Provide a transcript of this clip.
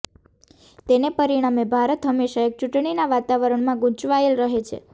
તેને પરિણામે ભારત હંમેશા એક ચૂંટણીના વાતાવરણમાં ગૂંચવાયેલ રહે છે